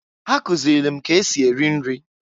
Ha kụzịlị m k'esi eri nri.